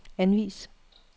anvis